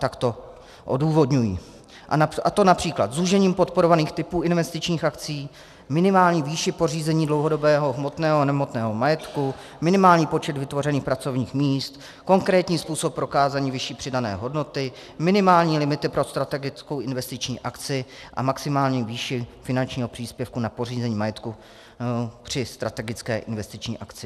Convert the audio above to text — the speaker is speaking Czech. Tak to odůvodňují, a to například zúžením podporovaných typů investičních akcí, minimální výší pořízení dlouhodobého hmotného a nehmotného majetku, minimální počet vytvořených pracovních míst, konkrétní způsob prokázání vyšší přidané hodnoty, minimální limity pro strategickou investiční akci a maximální výši finančního příspěvku na pořízení majetku při strategické investiční akci.